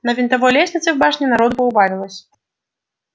на винтовой лестнице в башне народу поубавилось